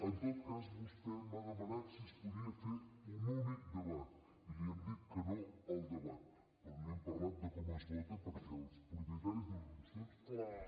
en tot cas vostè m’ha demanat si es podia fer un únic debat i li hem dit que no al debat però no hem parlat de com es vota perquè els propietaris de les mocions són vostès i ho decideixen vostès